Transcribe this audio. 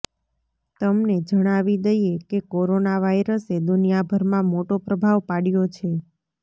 તમને જણાવી દઈએ કે કોરોના વાયરસે દુનિયાભરમાં મોટો પ્રભાવ પાડ્યો છે